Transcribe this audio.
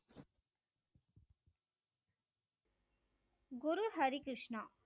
Guru Harikrishna.